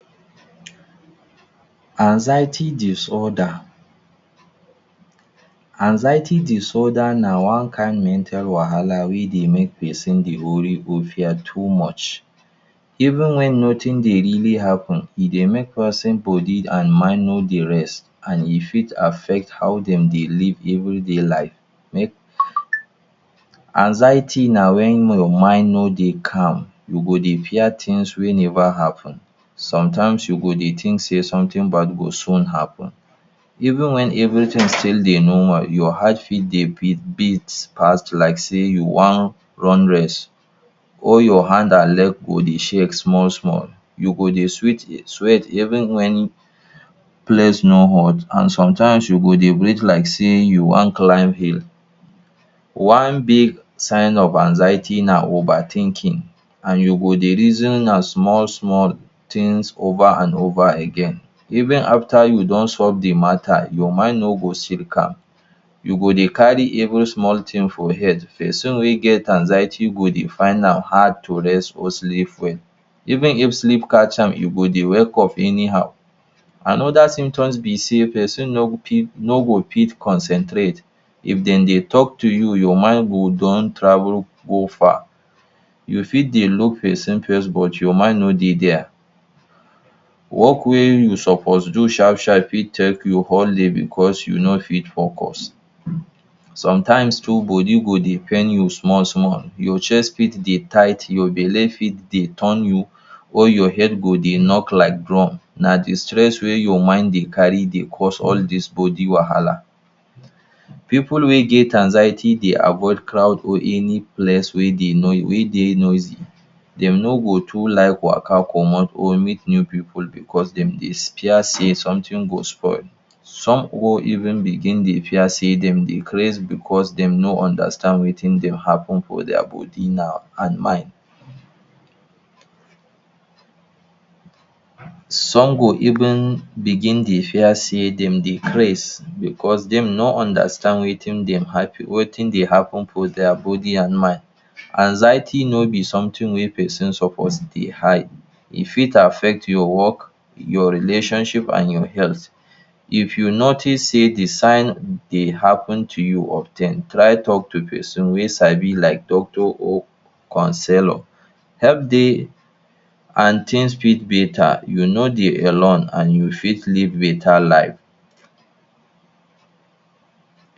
Anxiety disorder. Anxiety disorder na one kain mental wahala wey dey make person dey worry or fear too much even wen nothing dey really happen. E dey make person body and mind no dey rest, and e fit affect how dem dey live everyday life. Anxiety na wen your mind no dey calm you go dey fear things wey never happen, some times you go dey think say something bad go soon happen. Even wen everything still dey normal your heart fit dey beat beat fast like sey you wan run race or your hand and leg go dey shake small small. You go dey sweat even wen place no hot and sometimes you go dey breathe like sey you wan climb hill. One big sign of anxiety na over thinking and you go dey reason am small small things over and over again even afta you don solve de matter your mind no go still dey calm, you go dey carry every small thing for head. Person wey get anxiety go dey find am hard to rest or sleep well, even if sleep catch am e go dey wake up anyhow. Another symptoms be sey person no go fit no go fit concentrate. If dem dey talk to you your mind go don travel go far, you fit dey look person face but your mind no dey there. Work wey you suppose do sharp sharp fit take you all day because you no fit focus. Sometimes too body go dey pain you small small your chest fit dey tight, your belle fit dey turn you or your head go dey knock like drum. Na de stress wey your mind dey carry dey cause all these body wahala. Pipu wey get anxiety dey avoid crowd or any place wey dey wey dey noisy. Dem no go too like waka comot or meet new pipu because dem dey fear sey something go spoil. Some or even begin dey fear sey dem dey craze because dem no understand wetin dey happen for their body now and mind. Some go even begin dey fear sey dem dey craze because dem no understand wetin dey wetin dey happen for their body and mind. Anxiety no be something wey person suppose dey hide. E fit affect your work, your relationship and your health. If you notice sey de sign dey happen to you of ten try talk to person wey sabi like doctor or counsellor. Help dey and things fit better, you no dey alone and you fit live better life.